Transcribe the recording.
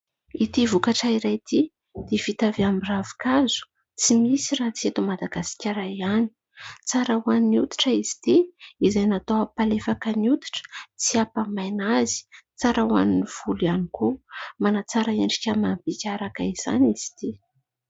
Ity vokatra iray ity dia vita avy amin'ny ravin-kazo tsy misy raha tsy eto Madagasikara ihany. Tsara ho an'ny hoditra izy ity, izay natao hampalefaka ny hoditra tsy hampamaina azy. Tsara ho an'ny volo ihany koa, manatsara endrika amam-bika araka izany izy ity.